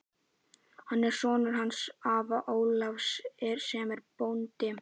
Hann er sonur hans afa Ólafs sem er bóndi.